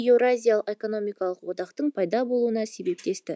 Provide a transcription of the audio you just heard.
еуразиялық экономикалық одақтың пайда болуына себептесті